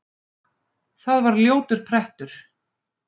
Það var ljótur prettur.